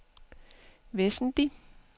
væsentlig